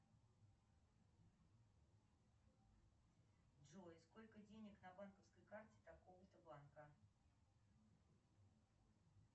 джой сколько денег на банковской карте такого то банка